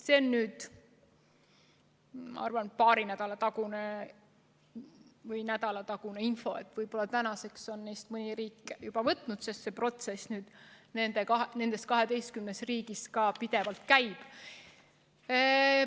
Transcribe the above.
See on, ma arvan, paari nädala tagune või nädalatagune info, võib-olla tänaseks on mõni neist riikidest selle juba üle võtnud, sest protsess nendes 12 riigis pidevalt käib.